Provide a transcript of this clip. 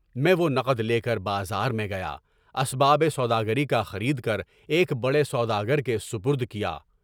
میں وہ نقد لے کر بازار میں گیا، اسباب سوداگری کا خرید کر ایک بڑے سوداگر کے سپرد کیا۔